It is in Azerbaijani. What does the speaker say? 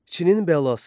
Çinin bəlası.